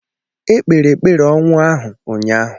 Ekpere ekpere ọnwụ ahụ ụnyahụ.